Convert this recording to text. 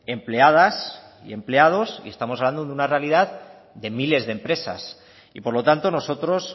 empleadas y empleados y estamos hablando de una realidad de miles de empresas y por lo tanto nosotros